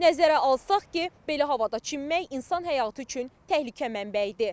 Nəzərə alsaq ki, belə havada çimmək insan həyatı üçün təhlükə mənbəyidir.